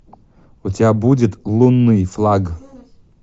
у тебя будет лунный флаг